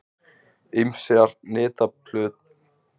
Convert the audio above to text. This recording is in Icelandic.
Ýmsar nytjaplöntur eins og hveiti eru einærar.